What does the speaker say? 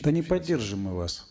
да не поддержим мы вас